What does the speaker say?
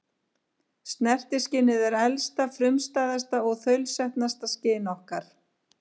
Snertiskynið er elsta, frumstæðasta og þaulsetnasta skyn okkar.